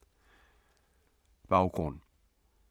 Baggrund